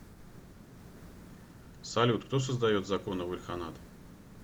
салют кто создает законы в ильханат